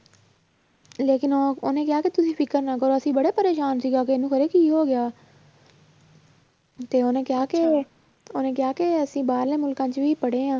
ਲੇਕਿੰਨ ਉਹ ਉਹਨੇ ਕਿਹਾ ਕਿ ਤੁਸੀਂ ਫ਼ਿਕਰ ਨਾ ਕਰੋ ਅਸੀਂ ਬੜੇ ਪਰੇਸਾਨ ਸੀਗਾ ਕਿ ਇਹਨੂੰ ਪਤਾ ਨੀ ਕੀ ਹੋ ਗਿਆ ਤੇ ਉਹਨੇ ਕਿਹਾ ਕਿ ਉਹਨੇ ਕਿਹਾ ਕਿ ਅਸੀਂ ਬਾਹਰਲੇ ਮੁਲਕਾਂ 'ਚ ਵੀ ਪੜ੍ਹੇ ਹਾਂ